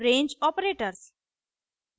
range operators